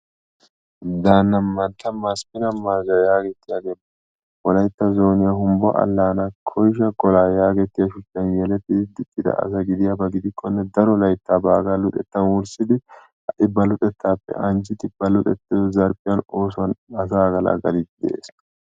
Danna mantta Masfina malda yaagetiyagee wolayttta zoniya humbbo allaana koysha kola yaagetiyan shuchchan yelettidi diccida asa gidiyaba gidikkone daro laytta baggaa luxettan wurssidi hai ba luxettappe anccidi ba luxettido zerfiyan asa agalagalidi de'ees.